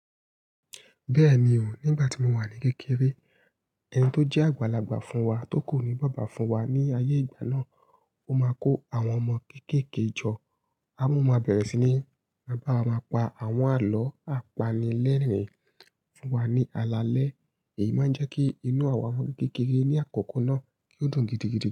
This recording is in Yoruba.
Bẹ́ẹ̀ni o, nígbà tí mo wà ní kékeré, ẹni tó jẹ́ àgbàlagbà fún wa tó ku ní bába fún wa ní ayé ìgbà náà, ó máa kó àwọn ọmọ kéékèèké jọ, a mú wọn bẹ̀rẹ̀ sí ní bá wa pa àwọn àlọ́ apanilẹ́rìn-ín fún wa ní alalẹ́, èyí máa ń jẹ́ kí inú àwa ọmọ kékeré ní àkọkọ náà kí ó dùn gidigidi.